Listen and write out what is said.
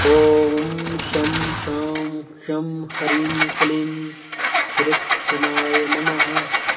ॐ शं शां षं ह्रीं क्लीं कृत्स्नाय नमः